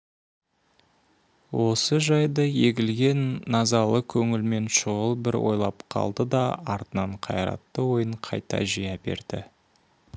осы жайды егілген назалы көңілмен шұғыл бір ойлап қалды да артынан қайратты ойын қайта жия берді